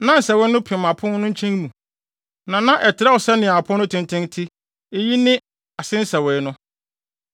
Na nsɛwee no pem apon no nkyɛn mu, na na ɛtrɛw sɛnea apon no tenten te; eyi ne ase nsɛwee no.